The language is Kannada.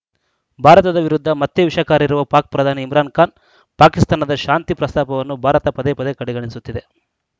ಭಾರತದ ವಿರುದ್ಧ ಮತ್ತೆ ವಿಷಕಾರಿರುವ ಪಾಕ್‌ ಪ್ರಧಾನಿ ಇಮ್ರಾನ್‌ ಖಾನ್‌ ಪಾಕಿಸ್ತಾನದ ಶಾಂತಿ ಪ್ರಸ್ತಾಪವನ್ನು ಭಾರತ ಪದೇ ಪದೇ ಕಡೆಗಣಿಸುತ್ತಿದೆ